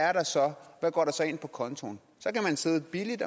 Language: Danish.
er der så hvad går der så ind på kontoen så kan man sidde billigt